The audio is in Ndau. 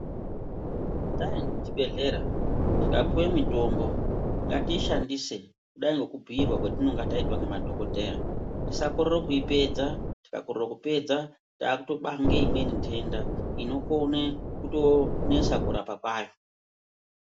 Taende kuzvibhedhlera, tikapuwe mitombo , ngatiishandise kudai ngekubhuirwa kwetinonga taitwa ngemadhokodheya. Tisakorere kuipedza, tikakorere kuipedza taakutobange imweni ntenda, inokone kutoonesa kurapa kwayo.